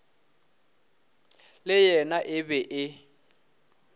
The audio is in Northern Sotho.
le yena e be e